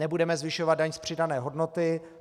Nebudeme zvyšovat daň z přidané hodnoty.